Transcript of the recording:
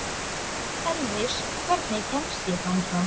Elvis, hvernig kemst ég þangað?